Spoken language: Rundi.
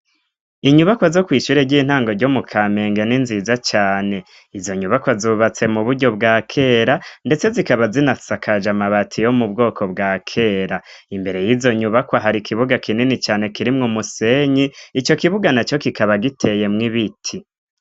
inyubaka zo kwishure ry'intango ryo mu kamenge n'inziza cane izo nyubakwa zubatse mu buryo bwakera ndetse zikaba zinasakaje amabati yo mubwoko bwakera imbere y'izo nyubakwa hari kibuga kinini cane kirimwo musenyi ico kibuga naco kikaba giteye mw'ibiti